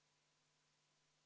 Palun võtta seisukoht ja hääletada!